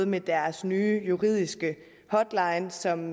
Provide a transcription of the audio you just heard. med deres nye juridiske hotline som